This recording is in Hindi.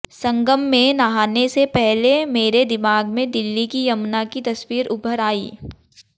संगम में नहाने से पहले मेरे दिमाग में दिल्ली की यमुना की तस्वीर उभर आई